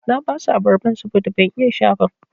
Na basu abarban saboda ban iya sha ba.